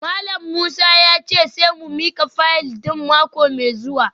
Malam Musa ya ce sai mu mika fayil din mako mai zuwa